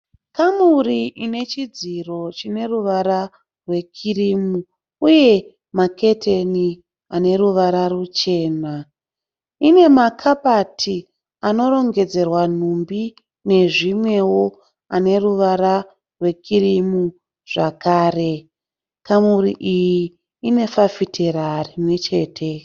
Kamuri ine chidziro chine ruvara rwekirimu uye maketeni ane ruvara ruchena. Ine makabati anorongedzerwa nhumbi nezvimwewo ane ruvara rwekirimu zvakare. Kamuri iyi ine fafitera rimwe chete.